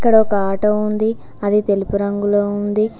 ఇక్కడ ఒక ఆటో ఉంది అది తెలుపు రంగులో ఉంది.